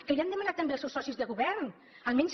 que li ho han demanat també els seus socis de govern almenys